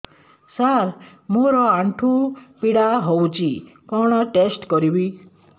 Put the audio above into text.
ସାର ମୋର ଆଣ୍ଠୁ ପୀଡା ହଉଚି କଣ ଟେଷ୍ଟ କରିବି